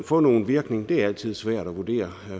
få nogen virkning i altid svært at vurdere